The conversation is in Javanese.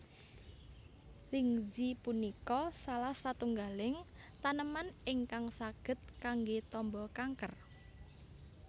Lingzhi punika salah setunggaling taneman ingkang saged kanggé tamba kanker